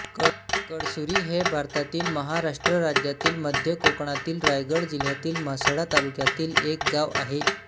कळसुरी हे भारतातील महाराष्ट्र राज्यातील मध्य कोकणातील रायगड जिल्ह्यातील म्हसळा तालुक्यातील एक गाव आहे